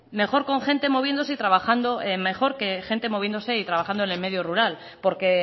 mejor con gente moviéndose y trabajando mejor que gente moviéndose y trabajando en el medio rural porque